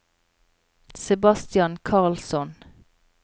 Sebastian Karlsson